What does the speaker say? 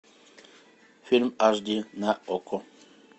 фильм аш ди на окко